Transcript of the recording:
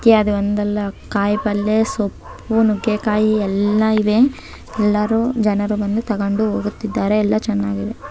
ಇತ್ಯಾದಿ ಒಂದಲ್ಲ ಕಾಯಿ ಪಲ್ಯ ಸೊಪ್ಪು ನುಗ್ಗೆಕಾಯಿ ಎಲ್ಲಾ ಇವೆ ಎಲ್ಲರು ಜನರು ಬಂದು ತಗೊಂಡು ಹೋಗುತ್ತಿದ್ದಾರೆ ಎಲ್ಲಾ ಚೆನ್ನಾಗಿದೆ .